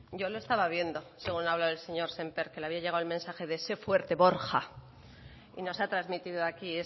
yo le estaba viendo según le hablaba el señor sémper que le había llegado el mensaje de sé fuerte borja y nos ha trasmitido aquí